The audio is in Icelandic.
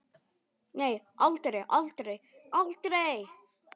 Nei, aldrei, aldrei, aldrei!